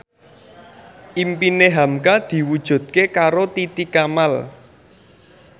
impine hamka diwujudke karo Titi Kamal